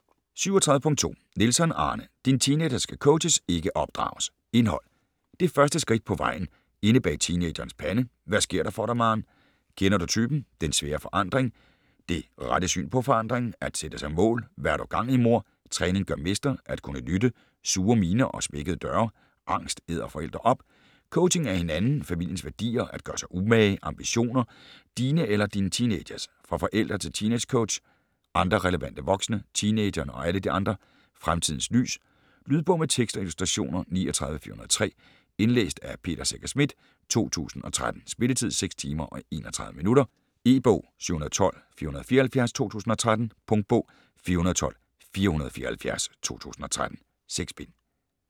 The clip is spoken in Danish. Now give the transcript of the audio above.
37.2 Nielsson, Arne: Din teenager skal coaches, ikke opdrages Indhold: Det første skridt på veje, Inde bag teenagerens pande, Hvad sker der for dig, maarn, Kender du typen?, Den svære forandring, Det rette syn på forandringen, At sætte sig mål, Hva' har du gang i, mor?, Træning gør mester, At kunne lytte, Sure miner og smækkede døre, Angst æder forældre op, Coaching af hinanden, familiens værdier, At gøre sig umage, Ambitioner - dine eller din teenagers?, Fra forældre til teeangecoach, Andre relevante voksne, Teenageren og alle de andre, "Fremtidens lys". Lydbog med tekst og illustrationer 39403 Indlæst af Peter Secher Schmidt, 2013. Spilletid: 6 timer, 31 minutter. E-bog 712474 2013. Punktbog 412474 2013. 6 bind.